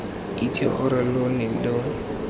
itse gore lo ne lo